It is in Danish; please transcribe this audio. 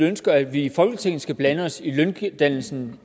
ønsker at vi i folketinget skal blande os i løndannelsen